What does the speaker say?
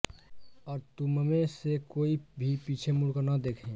और तुममें से कोई भी पीछे मुड़कर न देखे